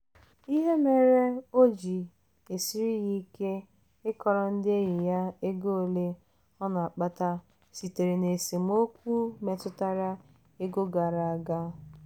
ihe mere o ji esiri ya ike ịkọrọ ndị enyi ya ego ole ọ na-akpata sitere na esemokwu metụtara ego gara aga.